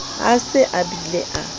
a se a bile a